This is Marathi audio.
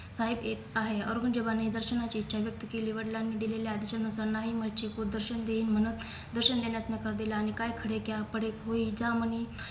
साहेब येत आहे औरंगजेबाने दर्शनाची इच्छा व्यक्त केली वडलांनी दिलेल्या आदेशानुसार नाही कुळदर्शन देईन म्हणूंन दर्शन देण्यास नकार दिला आणि काय खडे क्या पडे होईल ज्यामणी